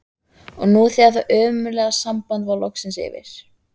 Og nú þegar það ömurlega samband var loksins yfir